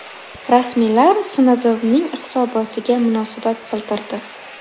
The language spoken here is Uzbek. Rasmiylar SNDV’ning hisobotiga munosabat bildirdi.